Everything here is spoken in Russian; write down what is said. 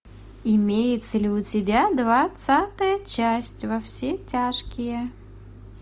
имеется ли у тебя двадцатая часть во все тяжкие